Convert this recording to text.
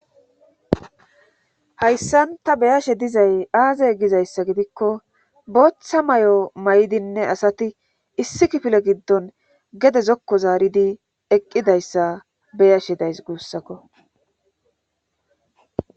hayssan ta beyashe dizay aaze gizayssa gidikko booththa mayo maydinne asati issi kifile giddon gede zokko zaaridi eqqidayssa beyashe days guussakko